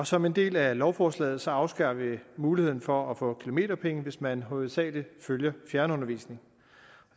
som en del af lovforslaget afskaffer vi muligheden for at få kilometerpenge hvis man hovedsagelig følger fjernundervisning